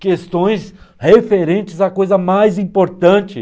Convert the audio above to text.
Questões referentes à coisa mais importante.